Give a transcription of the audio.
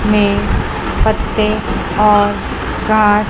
में पत्ते और घास--